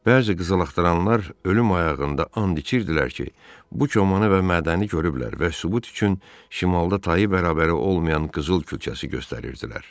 Bəzi qızılaxtaranlar ölüm ayağında and içirdilər ki, bu komanı və mədəni görüblər və sübut üçün şimalda tayı bərabəri olmayan qızıl küçəsi göstərirdilər.